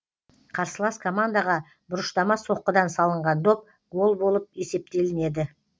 қарсылас командаға бұрыштама соққыдан салынған доп гол болып есептелінеді